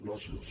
gràcies